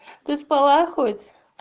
ты спала хоть